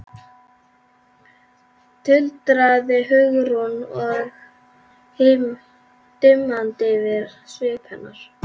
tuldraði Hugrún og það dimmdi yfir svip hennar.